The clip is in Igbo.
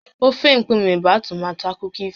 Ofe mkpume bụ ọmụmaatụ akụkọ ifo